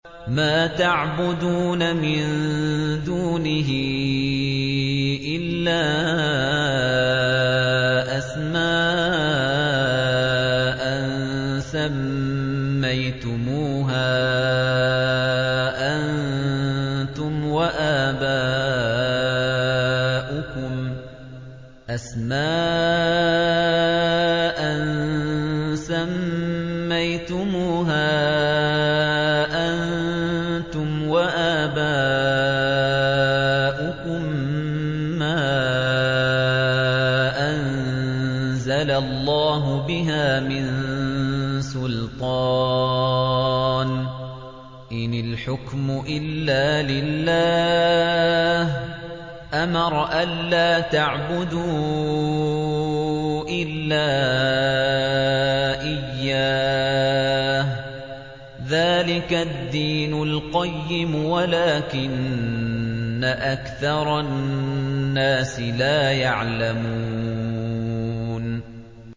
مَا تَعْبُدُونَ مِن دُونِهِ إِلَّا أَسْمَاءً سَمَّيْتُمُوهَا أَنتُمْ وَآبَاؤُكُم مَّا أَنزَلَ اللَّهُ بِهَا مِن سُلْطَانٍ ۚ إِنِ الْحُكْمُ إِلَّا لِلَّهِ ۚ أَمَرَ أَلَّا تَعْبُدُوا إِلَّا إِيَّاهُ ۚ ذَٰلِكَ الدِّينُ الْقَيِّمُ وَلَٰكِنَّ أَكْثَرَ النَّاسِ لَا يَعْلَمُونَ